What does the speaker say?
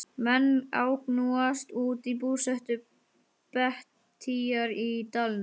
Menn agnúast út í búsetu Bettýjar í dalnum.